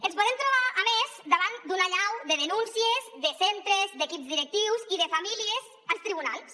ens podem trobar a més davant d’una allau de denúncies de centres d’equips directius i de famílies als tribunals